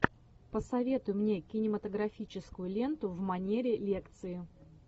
посоветуй мне кинематографическую ленту в манере лекции